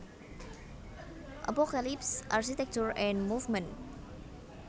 Apocalypse Architecture en mouvement